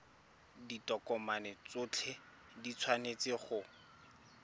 ditokomane tsotlhe di tshwanetse go